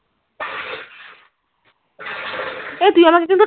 এই তুই ওরম কিছু